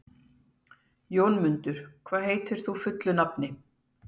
Jónmundur, hvað heitir þú fullu nafni?